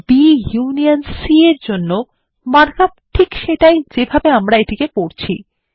B union C -এর জন্য markup ঠিক সেটাই যেভাবে আমরা এটিকে পড়ছি